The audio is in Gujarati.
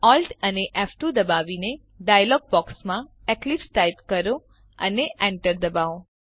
Alt અને ફ2 દબાવીને ડાયલોગ બોક્સમાં એક્લિપ્સ ટાઈપ કરો અને enter દબાવો